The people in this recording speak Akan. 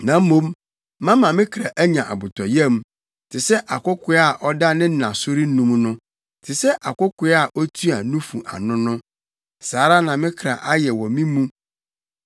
Na mmom, mama me kra anya abotɔyam te sɛ akokoaa a ɔda ne na so renum no, te sɛ akokoaa a otua nufu ano no, saa ara na me kra ayɛ wɔ me mu.